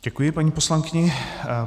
Děkuji paní poslankyni.